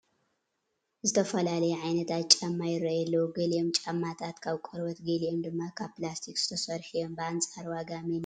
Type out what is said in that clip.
ዝተፈላለዩ ዓይነታት ጫማ ይርአዩ ኣለዉ፡፡ ገሊኦም ጫማታት ካብ ቆርበት ገሊኦም ድማ ካብ ፕላስቲክ ዝተሰርሑ እዮም፡፡ ብኣንፃር ወጋ መኒኦም ይኸብሩ ይመስለኹም?